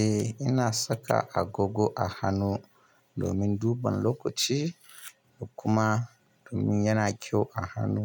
Eh ina saka agogo a hannu domin duban lokaci da kuma domin yana kyau a hannu,